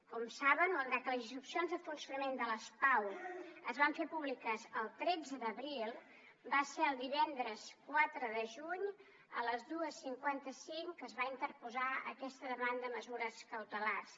com saben malgrat que les instruccions de funcionament de les pau es van fer públiques el tretze d’abril va ser el divendres quatre de juny a les dos cents i cinquanta cinc que es va interposar aquesta demanda de mesures cautelars